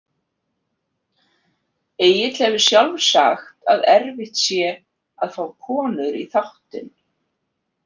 Egill hefur sjálfur sagt að erfitt sé að fá konur í þáttinn.